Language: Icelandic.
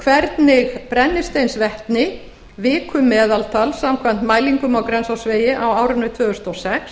hvernig brennisteinsvetni vikumeðaltal samkvæmt mælingum á grensásvegi á árinu tvö þúsund og sex